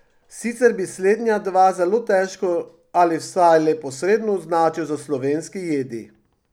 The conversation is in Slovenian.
Sicer bi slednja dva zelo težko ali vsaj le posredno označil za slovenski jedi.